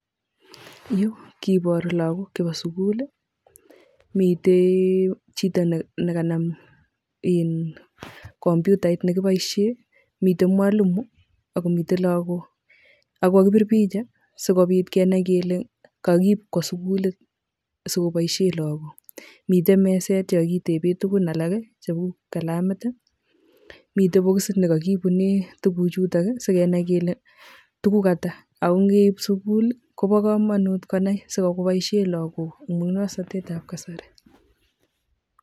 Yu kiboru lakok chepo sikul, mitee chito nekanam kompyutait nekiboisien, miten mwalimu, akomiten lakok ako kakibir picha sikobit kenai kele kokiip kwo sikulit sikoboisien lakok, miten meset nekokitepsi tukuk alak, cheu kalamit ,miten bikisit nekokiibunen tukuchuto sikenai kele tukuk ata, ako ngeip en sikul kobokomonut konai sikoboisien lakok amun musong'notetab kasari.